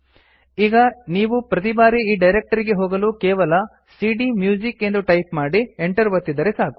ಈಗ ನೀವು ಪ್ರತಿಬಾರಿ ಈ ಡೈರಕ್ಟರಿಗೆ ಹೋಗಲು ಕೇವಲ ಸಿಡಿಎಂಯೂಸಿಕ್ ಎಂದು ಟೈಪ್ ಮಾಡಿ Enter ಒತ್ತಿದರೆ ಸಾಕು